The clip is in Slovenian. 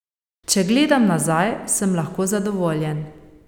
Če gledam nazaj, sem lahko zadovoljen.